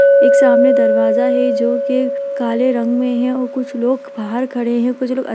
एक सामने दरवाजा है जो की काले रंग में है और कुछ लोग बाहर खड़े हैं कुछ लोग अं --